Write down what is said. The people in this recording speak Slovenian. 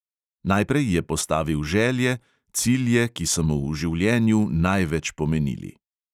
Najprej je postavil želje, cilje, ki so mu v življenju največ pomenili: